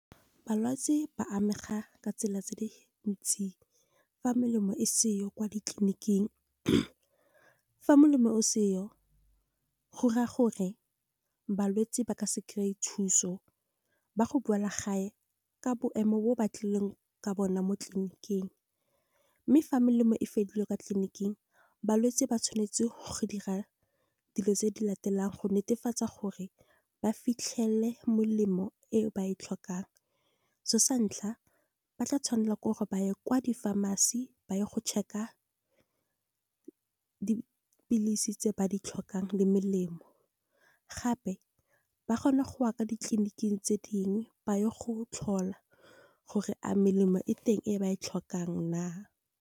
Balwetsi ba amega ka tsela tse di ntsi fa melemo e seyo kwa ditleliniking, fa molemo o seyo, go raya gore balwetsi ba ka se kry-e thuso, ba go boela gae ka boemo ba ba tlileng ka bona mo tleliniking. Mme fa melemo e fedile kwa tleliniking, balwetse ba tshwanetse go dira dilo tse di latelang, go netefatsa gore ba fitlhele melemo e ba e tlhokang. Sa ntlha ba tla tshwanela gore ba ye kwa di-pharmacy ba ye go check-a dipilisi tse ba di tlhokang, le melemo gape ba kgona goya ditleniking tse dingwe, ba ye go tlhola gore a melemo e teng e ba e tlhokang na.